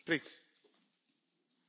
Ja, ich bin schon erstaunt.